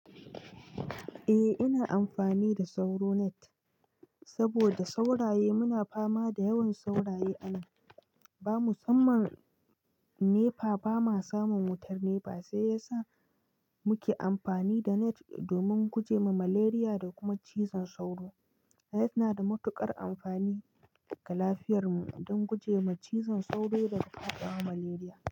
Eh, ina amfani da sauro net sabida sauraye. Muna fama da yawan sauraye a nan, ba musamman nepa. Ba ma samun wutar nepa, sai yasa muke amfani da net domin guje ma malaria da kuma cizon sauro. Net na da matuƙar amfani ga lafiyarmu dan guje ma cizon sauro da kuma ƙwaƙƙwara malaria.